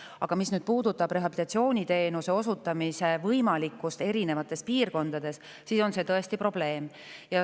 Aga mis puudutab rehabilitatsiooniteenuse osutamise võimalikkust erinevates piirkondades, siis see on tõesti probleem.